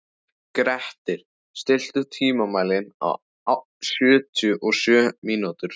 Grettir, stilltu tímamælinn á sjötíu og sjö mínútur.